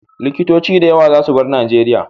Likitoci da yawa za su bar Nijeria